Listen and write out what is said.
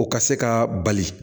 O ka se ka bali